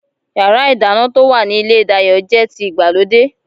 Yàrá-ìdáná to wa ní ilé Dayo jẹ́ ti ìgbàlódé